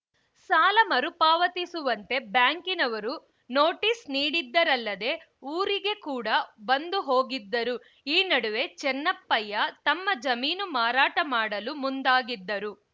ಸಾಲ ಮರುಪಾವತಿಸುವಂತೆ ಬ್ಯಾಂಕಿನವರು ನೋಟಿಸ್‌ ನೀಡಿದ್ದರಲ್ಲದೆ ಊರಿಗೆ ಕೂಡ ಬಂದು ಹೋಗಿದ್ದರು ಈ ನಡುವೆ ಚೆನ್ನಪ್ಪಯ್ಯ ತಮ್ಮ ಜಮೀನು ಮಾರಾಟ ಮಾಡಲು ಮುಂದಾಗಿದ್ದರು